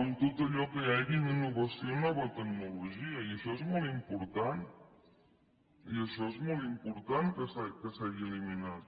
en tot allò que hi hagi d’innovació i nova tecnologia i això és molt important i això és molt important que s’hagi eliminat